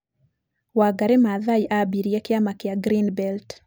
Wangari Maathai aambirie kĩama kĩa Green Belt.